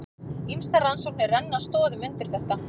Ýmsar rannsóknir renna stoðum undir þetta.